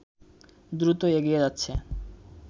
দ্রুত এগিয়ে যাচ্ছে